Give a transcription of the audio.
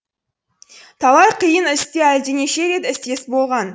талай қиын істе әлденеше рет істес болған